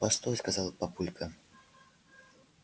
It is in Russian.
постой сказал папулька